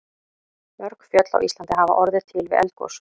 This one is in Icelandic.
Mörg fjöll á Íslandi hafa orðið til við eldgos.